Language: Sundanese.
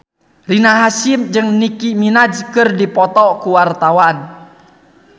Rina Hasyim jeung Nicky Minaj keur dipoto ku wartawan